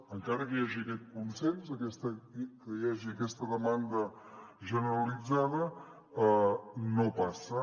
encara que hi hagi aquest consens que hi hagi aquesta demanda generalitzada no passa